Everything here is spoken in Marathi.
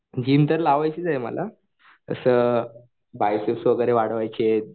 जिम तर लावायचीच आहे मला तसं बायसेप्स वाढवायचेत.